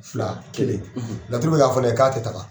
Fila ,kelen, , laturu be k'a fɔ ne ye k'a tɛ taga.